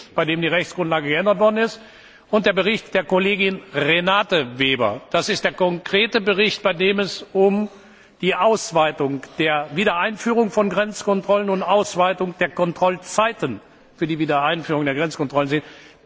der Bericht, bei dem ja die Rechtsgrundlage geändert worden ist. Zum anderen ist das der Bericht der Kollegin Renate Weber, der konkrete Bericht, bei dem es um die Ausweitung der Wiedereinführung von Grenzkontrollen und die Ausweitung der Kontrollzeiten für die Wiedereinführung der Grenzkontrollen